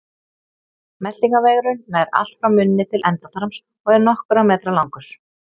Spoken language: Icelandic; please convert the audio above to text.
meltingarvegurinn nær allt frá munni til endaþarms og er nokkurra metra langur